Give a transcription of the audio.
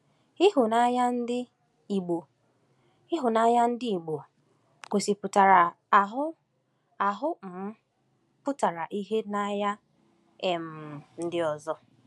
Ịhụnanya ndị Igbo Ịhụnanya ndị Igbo gosipụtara ahụ ahụ um pụtara ìhè n’anya um ndị ọzọ.